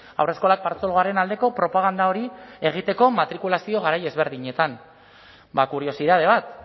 haurreskolak partzuergoaren aldeko propaganda hori egiteko matrikulazio garai ezberdinetan bada kuriositate bat